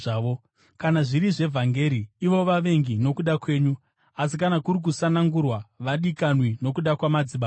Kana zviri zvevhangeri, ivo vavengi nokuda kwenyu; asi kana kuri kusanangurwa, vadikanwi nokuda kwamadzibaba,